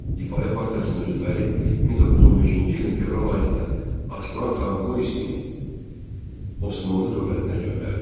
Difai partiyasının üzvləri 1915-ci ilin fevral ayında Aslanxan Xoyskini Osmanlı dövlətinə göndərdilər.